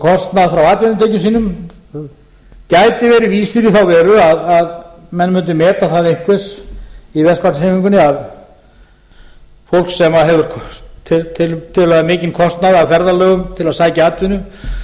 kostnað frá atvinnutekjum sínum gæti verið vísir í þá veru að menn mundu meta það einhvers í verkalýðshreyfingunni að fólk sem hefur tiltölulega mikinn kostnað af ferðalögum til að sækja atvinnu